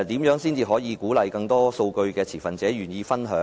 如何才能鼓勵更多數據的持份者願意分享數據？